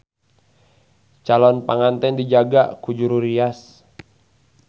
Calon panganten dijaga ku juru rias.